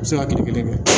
U bɛ se ka kile kelen kɛ